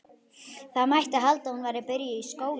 Það mætti halda að hún væri byrjuð í skóla.